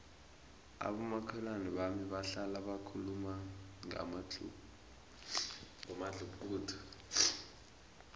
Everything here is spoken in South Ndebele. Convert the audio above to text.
abomakhelwana bami bahlala bakhuluma ngomadluphuthu